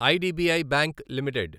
IDBI bank limited